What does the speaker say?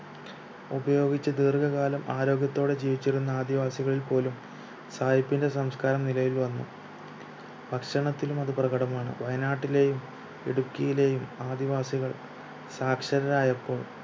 ഉപയോഗിച്ചു ദീർഘകാലം ആരോഗ്യത്തോടെ ജീവിച്ചിരുന്ന ആദിവാസികളിൽ പോലും സായിപ്പിന്റെ സംസ്കാരം നിലവിൽ വന്നു ഭക്ഷണത്തിലും അത് പ്രകടമാണ് വയനാട്ടിലെയും ഇടുക്കിയിലെയും ആദിവാസികൾ സാക്ഷരതായപ്പോൾ